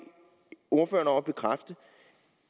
ordføreren om